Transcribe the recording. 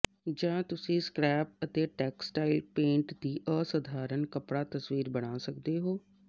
ਜਾਂ ਤੁਸੀਂ ਸਕ੍ਰੈਪ ਅਤੇ ਟੈਕਸਟਾਈਲ ਪੇਂਟ ਦੀ ਅਸਾਧਾਰਨ ਕੱਪੜਾ ਤਸਵੀਰ ਬਣਾ ਸਕਦੇ ਹੋ